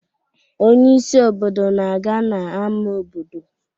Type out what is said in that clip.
Onye isi obodo na-aga n'ámá obodo